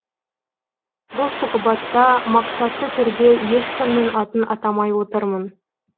бұл сұхбатта мақсатты түрде ешкімнің атын атамай отырмын